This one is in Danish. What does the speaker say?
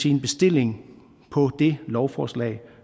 en bestilling på det lovforslag